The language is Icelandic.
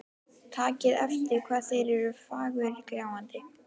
Takið eftir hvað þeir eru fagurgljáandi.